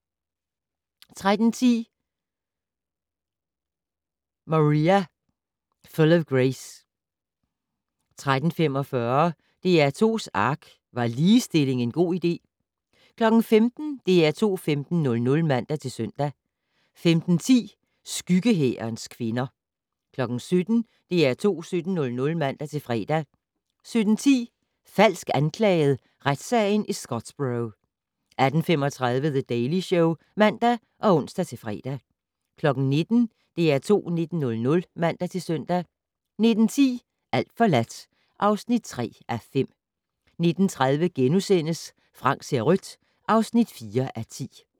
13:10: Maria Full of Grace 14:45: DR2's ARK - Var ligestilling en god idé? 15:00: DR2 15:00 (man-søn) 15:10: Skyggehærens kvinder 17:00: DR2 17:00 (man-fre) 17:10: Falsk anklaget? - retssagen i Scottsboro 18:35: The Daily Show (man og ons-fre) 19:00: DR2 19:00 (man-søn) 19:10: Alt forladt (3:5) 19:30: Frank ser rødt (4:10)*